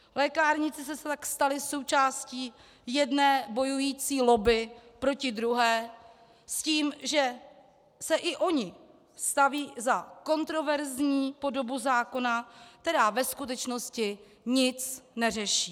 Lékárníci se tak stali součástí jedné bojující lobby proti druhé s tím, že se i oni staví za kontroverzní podobu zákona, která ve skutečnosti nic neřeší.